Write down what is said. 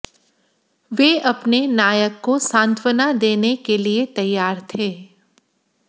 वे अपने नायक को सांत्वना देने के लिए तैयार थे